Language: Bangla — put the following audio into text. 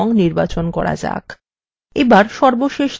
এবার সর্বশেষ ধাপে যান